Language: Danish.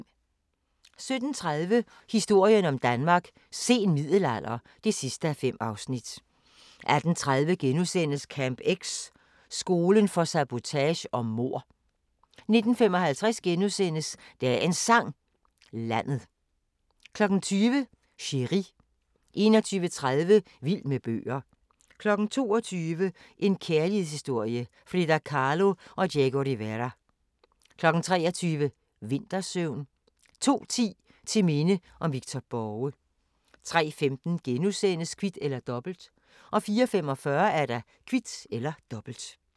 17:30: Historien om Danmark: Sen middelalder (5:5) 18:30: Camp X – skolen for sabotage og mord * 19:55: Dagens Sang: Landet * 20:00: Chéri 21:30: Vild med bøger 22:00: En kærlighedshistorie – Frida Kahlo & Diego Rivera 23:00: Vintersøvn 02:10: Til minde om Victor Borge 03:15: Kvit eller Dobbelt * 04:45: Kvit eller Dobbelt